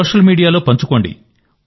social మీడియాలో పంచుకోండి